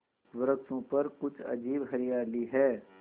वृक्षों पर कुछ अजीब हरियाली है